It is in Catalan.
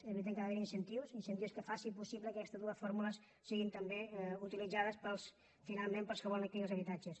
és veritat que ha d’haver hi incentius incentius que facin possible que aquestes dues fórmules siguin també utilitzades finalment pels que volen adquirir els habitatges